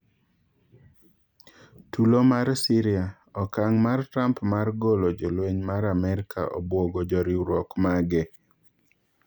Tulo mar Syria:Okaang' mar Trump mar golo jolweny mar Amerka obwogo joriuruok mage